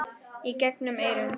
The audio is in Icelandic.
Í gegnum eyrun.